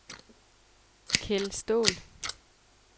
Kell Staal